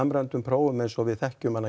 samræmdum prófum eins og við þekkjum